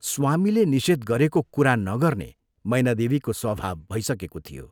स्वामीले निषेध गरेको कुरा नगर्ने मैनादेवीको स्वभाव भइसकेको थियो।